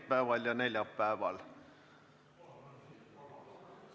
Teisipäeval ja neljapäeval.